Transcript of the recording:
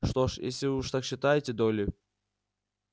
что ж если уж вы так считаете долли